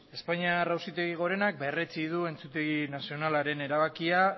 espainiar auzitegi gorenak berretsi du entzutegi nazionalaren erabakia